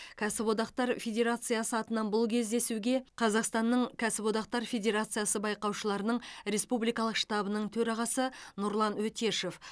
кәсіподақтар федерациясы атынан бұл кездесуге қазақстанның кәсіподақтар федерациясы байқаушыларының республикалық штабының төрағасы нұрлан өтешев